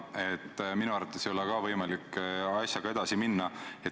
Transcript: Ka minu arvates ei ole võimalik selle asjaga edasi minna.